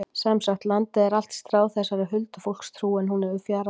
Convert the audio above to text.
Sem sagt, landið er allt stráð þessari huldufólkstrú en hún hefur fjarað út.